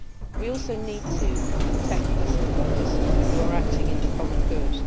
We also need to protect whistleblowers who are acting in the common good.